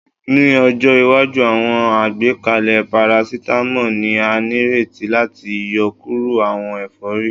Ni ọjọ iwaju, awọn agbekalẹ paracetamol ni a nireti lati yọkuro awọn efori